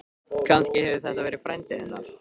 Kannski hefur þetta verið frændi hennar?